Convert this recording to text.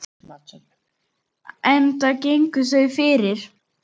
Enda gengu þau fyrir.